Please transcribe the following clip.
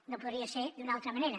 no podria ser d’una altra manera